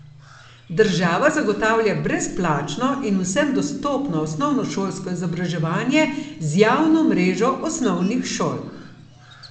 Država zagotavlja brezplačno in vsem dostopno osnovnošolsko izobraževanje z javno mrežo osnovnih šol.